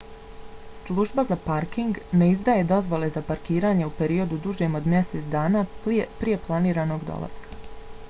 služba za parking minae ne izdaje dozvole za parkiranje u periodu dužem od mjesec dana prije planiranog dolaska